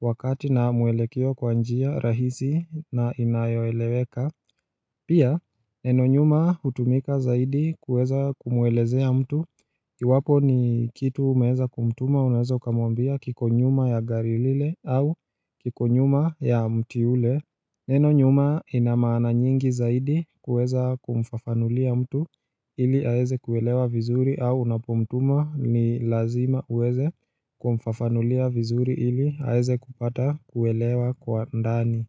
wakati na mwelekeo kwa njia rahisi na inayoeleweka Pia neno nyuma hutumika zaidi kuweza kumwelezea mtu iwapo ni kitu umeweza kumtuma unaweza ukamwambia kiko nyuma ya gari lile au kiko nyuma ya mti ule Neno nyuma ina maana nyingi zaidi kuweza kumfafanulia mtu ili aeze kuelewa vizuri au unapomtuma ni lazima uweze kumfafanulia vizuri ili aeze kupata kuelewa kwa ndani.